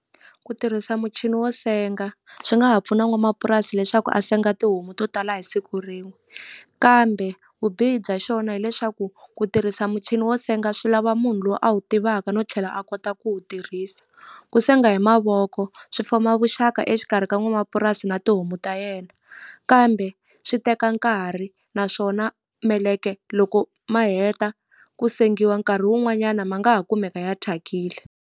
Ku tirhisa muchini wo senga swi nga ha pfuna n'wamapurasi leswaku a senga tihomu to tala hi siku rin'we kambe vubihi bya xona hileswaku ku tirhisa muchini wo senga swi lava munhu lowu a wu tivaka no tlhela a kota ku wu tirhisa ku senga hi mavoko swi foma vuxaka exikarhi ka n'wamapurasi na tihomu ta yena kambe swi teka nkarhi naswona meleke loko ma heta ku sengiwa nkarhi wun'wanyana ma nga ha kumeka ya thyakile.